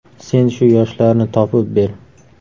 Sen shu yoshlarni topib ber.